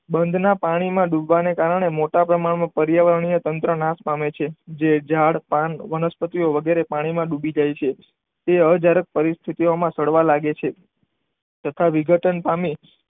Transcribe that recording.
બંધના પાણીમાં ડૂબવાને કારણે મોટા પ્રમાણમાં પર્યાવરણીય તંત્ર નાશ પામે છે. જે ઝાડ, પાન, વનસ્પતિઓ વગેરે પાણીમાં ડૂબી જાય છે તે જ્યારે પરિસ્થિતિમાં સડવા લાગે છે. તથા વિઘટન પામી